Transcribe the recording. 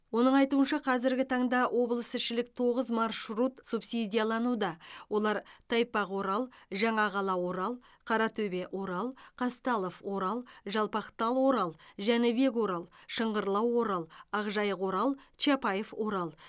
оның айтуынша қазіргі таңда облысішілік тоғыз маршрут субсидиялануда олар тайпақ орал жаңақала орал қаратөбе орал қазталов орал жалпақтал орал жәнібек орал шыңғырлау орал ақжайық орал чапаев орал